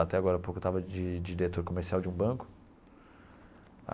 Até agora a pouco eu estava de de diretor comercial de um banco.